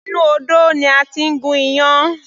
Inú odó ni a ti ń gún iyán.